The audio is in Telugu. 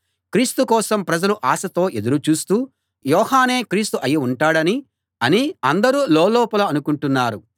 క్రీస్తు కోసం ప్రజలు ఆశతో ఎదురు చూస్తూ యోహానే క్రీస్తు అయి ఉంటాడని అని అందరూ లోలోపల అనుకుంటున్నారు